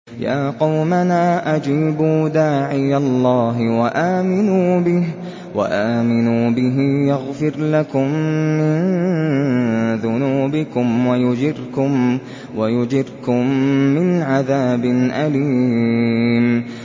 يَا قَوْمَنَا أَجِيبُوا دَاعِيَ اللَّهِ وَآمِنُوا بِهِ يَغْفِرْ لَكُم مِّن ذُنُوبِكُمْ وَيُجِرْكُم مِّنْ عَذَابٍ أَلِيمٍ